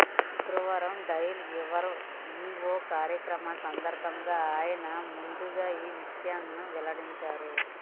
శుక్రవారం dial your E O కార్యక్రమం సందర్భంగా ఆయన ముందుగా ఈవిషయాలను వెల్లడించారు